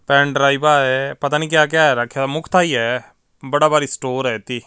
ਪੈਣ ਡ੍ਰਾਈਵ ਆ ਪਤਾ ਨਹੀਂ ਕਿਆ ਕਿਆ ਰਾਖਿਆ ਮੁੱਖ ਤਾਹੀ ਹੈ ਬੜਾ ਵਾਲੀ ਸਟੋਰ ਆ ਏਤੀ।